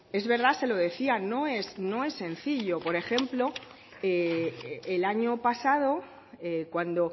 es verdad se lo decía no es sencillo por ejemplo el año pasado cuando